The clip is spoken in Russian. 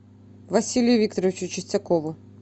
василию викторовичу чистякову